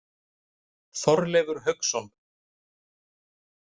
Þorleifur Hauksson.